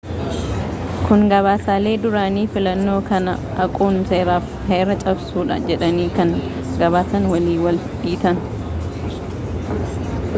kun gabaasaalee duraanii fillannoo kana haquun seera fi heera cabsuudha jedhanii kan gabaasan waliin wal dhiita